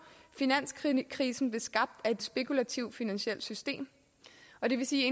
finanskrisen blev skabt af et spekulativt finansielt system og det vil sige